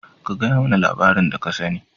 ka gayamana labarin da ka sane.